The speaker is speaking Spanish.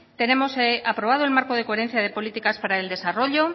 tenemos aprobado el marco de coherencia de políticas para el desarrollo